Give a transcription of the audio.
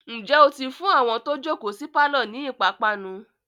ǹjẹ́ ó ti fún àwọn tó jòkó sí pálọ̀ ni ìpápánu?